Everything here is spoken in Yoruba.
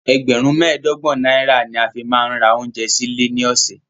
Ẹgbẹ̀rún mẹ́ẹ̀ẹ́dọ́gbọ̀n náírà ni a fi máa ń ra oúnjẹ sí ilé ní ọ̀sẹ̀.